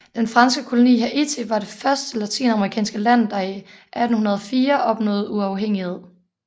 Den franske koloni Haiti var det første latinamerikanske land der i 1804 opnåede uafhængighed